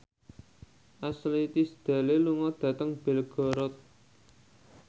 Ashley Tisdale lunga dhateng Belgorod